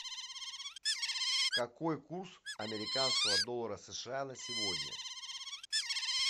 какой курс американского доллара сша на сегодня